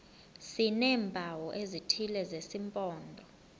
sineempawu ezithile zesimpondo